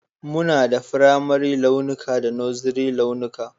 Muna da firamare launuka da Nursery launuka